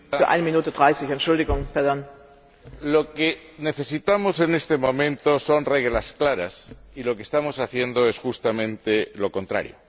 Señora Presidenta, lo que necesitamos en este momento son reglas claras, y lo que estamos haciendo es justamente lo contrario.